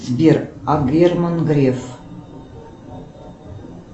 сбер а герман греф